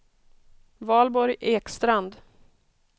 Valborg Ekstrand